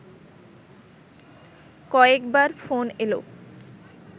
কয়েকবার ফোন এলো